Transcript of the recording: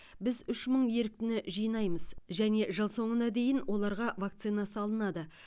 біз үш мың еріктіні жинаймыз және жыл соңына дейін оларға вакцина салынады